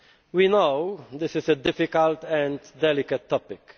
We know this is a difficult and delicate topic.